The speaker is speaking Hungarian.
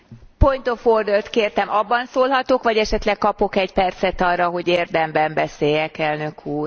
Point of order t kértem, abban szólhatok, vagy esetleg kapok egy percet arra, hogy érdemben beszéljek, elnök úr?